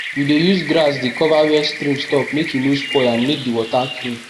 we dey use grass dey cover where stream stop make e no spoil and make di water clean